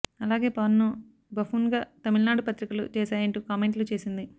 అలాగే పవన్ ను బఫూన్ గా తమిళనాడు పత్రికలు చేశాయంటూ కామెంట్లు చేసింది